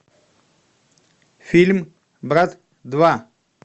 фильм брат два